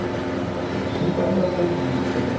A gente brincava bastante disso também.